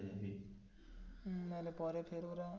হম তাহলে ফের ওরা.